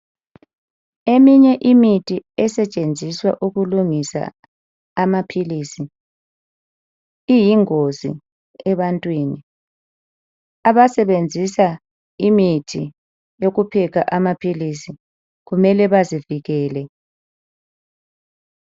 Eminye imithi esetshenziswa ukulungisa amaphilisi iyingozi ebantwini. Abasebenzisa imithi yopheka amaphilisi kumele bazivikele.